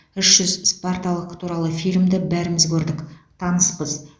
үш жүз спарталық туралы фильмді бәріміз көрдік таныспыз